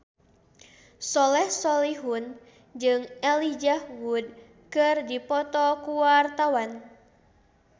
Soleh Solihun jeung Elijah Wood keur dipoto ku wartawan